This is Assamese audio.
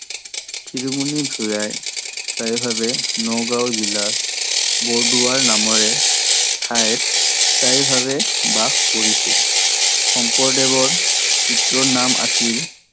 শিৰুমণি ভূঞাই স্থায়ীভাবে নগাও জিলাৰ বৰদোৱা নামেৰে ঠাইত স্থায়ীভাবে বাস কৰিছিল। শংকৰদেৱৰ পিতৃৰ নাম আছিল